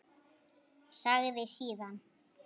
Sagði síðan: